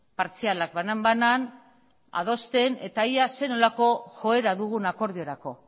partzialak banan banan adosten eta ea zer nolako joera dugun akordiorako